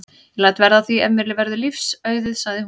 Ég læt verða af því ef mér verður lífs auðið sagði hún.